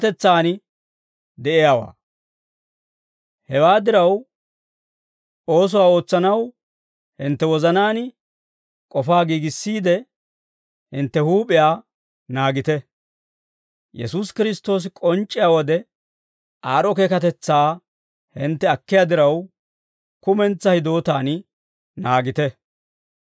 Hewaa diraw, oosuwaa ootsanaw hintte wozanaan k'ofaa giigissiidde hintte huup'iyaa naagite. Yesuusi Kiristtoosi k'onc'c'iyaa wode aad'd'o keekatetsaa hintte akkiyaa diraw, kumentsaa hidootaan naagite.